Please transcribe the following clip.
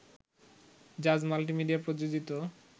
জাজ মাল্টিমিডিয়া প্রযোজিত